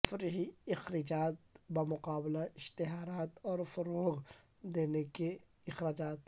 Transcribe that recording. تفریحی اخراجات بمقابلہ اشتہارات اور فروغ دینے کے اخراجات